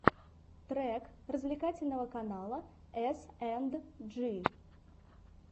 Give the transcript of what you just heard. трек развлекательного канала эсэндджи